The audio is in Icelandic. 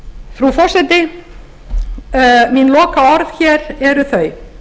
frú forseti mín lokaorð hér eru þau